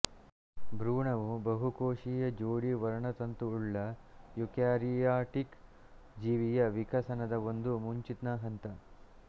ಭ್ರೂಣವು ಬಹುಕೋಶೀಯ ಜೋಡಿ ವರ್ಣತಂತುವುಳ್ಳ ಯೂಕ್ಯಾರಿಯಾಟಿಕ್ ಜೀವಿಯ ವಿಕಸನದ ಒಂದು ಮುಂಚಿನ ಹಂತ